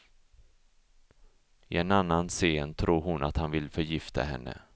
I en annan scen tror hon att han vill förgifta henne.